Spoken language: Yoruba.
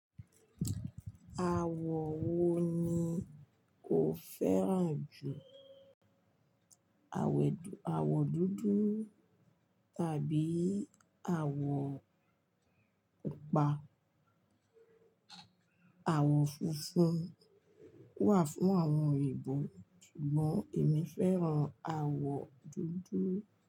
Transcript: Àwọ̀ wo ni o fẹ́ràn jù? Àwẹ̀dù, àwọ̀ dúdú tàbí àwọ̀ pupa. Àwọ̀ funfun wà fún àwọn Òyìnbó ṣùgbọ́n èmi fẹ́ràn àwọ̀ dúdú.